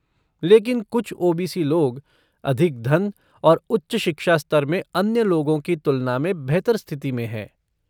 लेकिन कुछ ओ.बी.सी. लोग अधिक धन और उच्च शिक्षा स्तर में अन्य लोगों की तुलना में बेहतर स्थिति में हैं।